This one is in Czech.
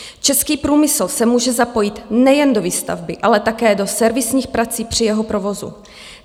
Český průmysl se může zapojit nejen do výstavby, ale také do servisních prací při jeho provozu.